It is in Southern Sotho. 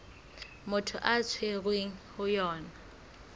motho a tshwerweng ho yona